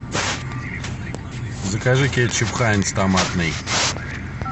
закажи кетчуп хайнц томатный